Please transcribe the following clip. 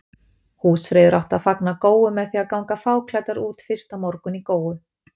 Húsfreyjur áttu að fagna góu með því að ganga fáklæddur út fyrsta morgun í góu.